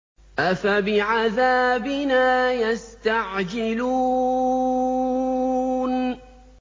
أَفَبِعَذَابِنَا يَسْتَعْجِلُونَ